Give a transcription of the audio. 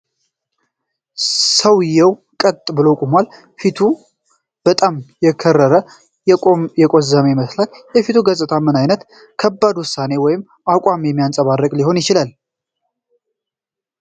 ሰውዬ ቀጥ ብሎ ቆሟል፤ ፊቱም በጣም የከረረና የቆዘመ ይመስላል። የፊቱ ገጽታ ምን ዓይነት ከባድ ውሳኔ ወይም አቋም የሚያንፀባርቅ ሊሆን ይችላል?